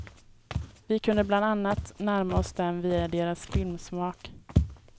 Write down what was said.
Vi kunde bland annat närma oss dem via deras filmsmak.